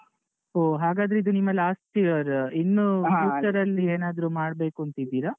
ಹೊ ಹಾಗದ್ರಿದು ನಿಮ್ಮ last year , ಇನ್ನು future ಅಲ್ಲಿ ಏನಾದ್ರು ಮಾಡ್ಬೇಕೂಂತ ಇದ್ದೀರಾ?